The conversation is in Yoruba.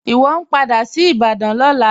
Iwọ n padà sí Ìbàdàn lọ́lá.